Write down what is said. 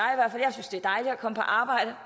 komme på arbejde